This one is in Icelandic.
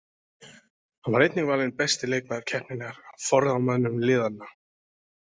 Hann var einnig valinn besti leikmaður keppninnar af forráðamönnum liðanna.